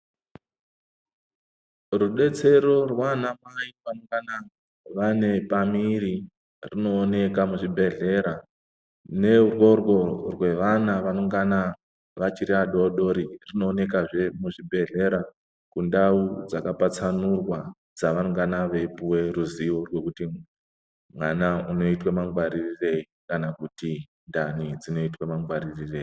Rudetsero rwaana mai vanongana vane pamiri rwunooneka muzvibhedhlera neurworwo rwevana vanongana vachiri vadoodori rwunoonekwazve muzvibhedhlera kundau dzakapatsanurwa dzavangana veipuwa ruzivo rwekuti vana vanoite mangwaririrwei kana kuti ndani dzinoite mangwaririrwei.